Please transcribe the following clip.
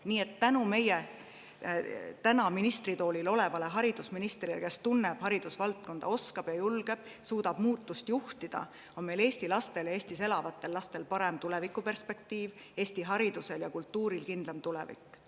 Nii et tänu praegu ministritoolil olevale meie haridusministrile, kes tunneb haridusvaldkonda, oskab, julgeb ja suudab juhtida muutusi, on eesti lastel ja Eestis elavatel lastel parem tulevikuperspektiiv ning Eesti haridusel ja kultuuril kindlam tulevik.